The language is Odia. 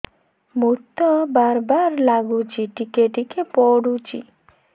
ମୁତ ବାର୍ ବାର୍ ଲାଗୁଚି ଟିକେ ଟିକେ ପୁଡୁଚି